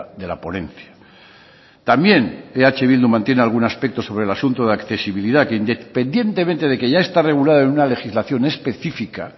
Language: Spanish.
de la ponencia también eh bildu mantiene algún aspecto sobre el asunto de accesibilidad que independientemente de que ya está regulada en una legislación específica